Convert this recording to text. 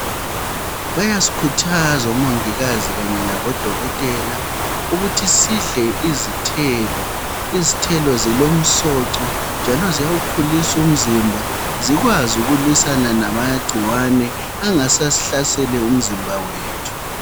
Bayasikhuthazwa omongikazi kanye labo dokotela ukuthi sidle izithelo. Izithelo zilomsonco njalo ziyawukhulisa umzimba zikwazi ukulwisana lamagcikwane angasasihlasele umzimba wethu.